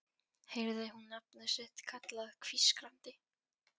Heyrði hún nafnið sitt kallað hvískrandi